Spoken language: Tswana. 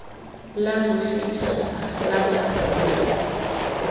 la bosetšhaba la kago ya